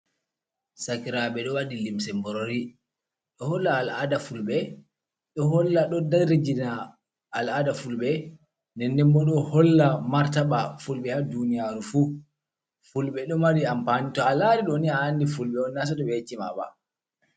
Sakiraaɓe ɗo waɗi limse mborori, ɗo holla al'aada Fulɓe, ɗo holla ɗo darijina al'aada Fulɓe. Ndennden bo ɗo holla martaba Fulɓe, haa duuniyaaru fu. Fulɓe ɗo mari ampaani, to a laari ɗooni, a anndi Fulɓe on, naa sooto ɓe yecci ma ba.